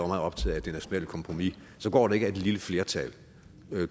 meget optaget af det nationale kompromis går det ikke at et lille flertal